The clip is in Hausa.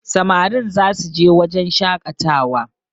Samarin za su je wurin shakatawa